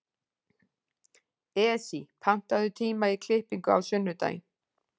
Esí, pantaðu tíma í klippingu á sunnudaginn.